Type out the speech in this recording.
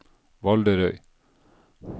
Valderøy